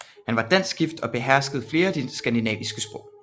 Han var dansk gift og beherskede flere af de skandinaviske sprog